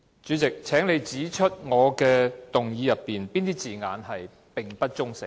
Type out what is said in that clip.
主席，請你指出我的議案中哪些字眼屬不中性。